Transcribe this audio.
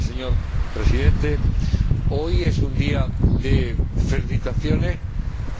Señor Presidente, hoy es un día de felicitaciones